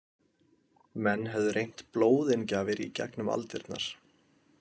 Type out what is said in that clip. Menn höfðu reynt blóðinngjafir í gegnum aldirnar.